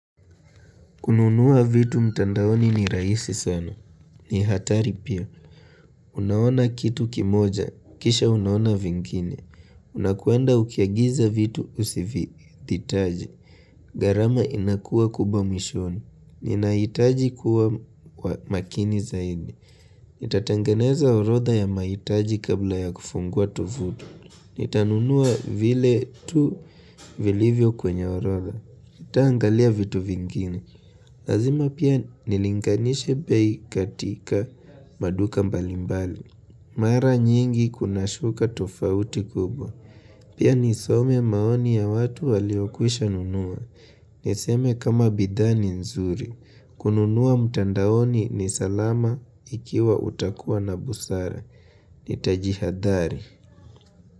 Kununuwa vitu mtandaoni ni rahisi sana. Ni hatari pia. Unaona kitu kimoja. Kisha unaona vingine. Unakwenda ukiagiza vitu usivitaji. Gharama inakua kubwa mwishoni. Ninahitaji kuwa kwa makini zaidi. Nitatangeneza orotha ya mahitaji kabla ya kufungua tufuti. Nitanunua vile tu vilivyo kwenye orotha. Nitaangalia vitu vingini. Lazima pia nilinganishe bei katika maduka mbalimbali Mara nyingi kunashuka tofauti kubwa Pia nisome maoni ya watu waliokwisha nunua Niseme kama bidhaa ni zuri kununuwa mutandaoni ni salama ikiwa utakuwa na busara. Nitajihadhari.